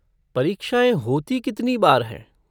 परीक्षाएँ होती कितनी बार हैं?